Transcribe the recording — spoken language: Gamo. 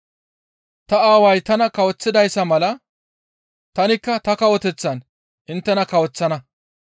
Ta Aaway tana kawoththidayssa mala tanikka ta kawoteththaan inttena kawoththana.